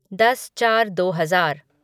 दस चार दो हजार